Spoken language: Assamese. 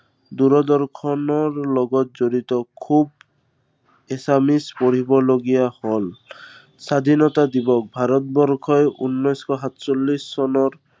দূপদৰ্শনৰ লগত জড়িত খুব assamese পঢ়িবলগীয়া হল। স্বাধীনতা দিৱস, ভাৰতবৰ্ষই উনৈশ শ সাতচল্লিশ চনত